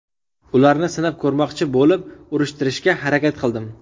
Ularni sinab ko‘rmoqchi bo‘lib, urishtirishga harakat qildim.